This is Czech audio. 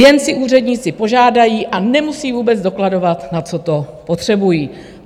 Jen si úředníci požádají a nemusí vůbec dokladovat, na co to potřebují.